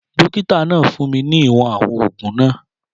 Dókítà náà fún mi ní ìwọ̀n àwọn oògùn náà